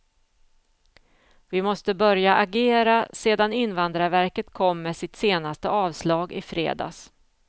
Vi måste börja agera sedan invandrarverket kom med sitt senaste avslag i fredags.